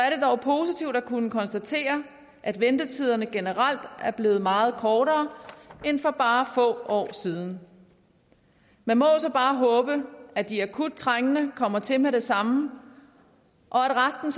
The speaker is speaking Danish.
er kunne konstatere at ventetiderne generelt er blevet meget kortere end for bare få år siden man må så bare håbe at de akut trængende kommer til med det samme og at resten